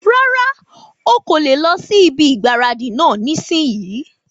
Rárá, ọ kò le lọ sí ibi ìgbáradì náà nísìínyi